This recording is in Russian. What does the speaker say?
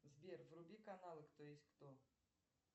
сбер вруби каналы кто есть кто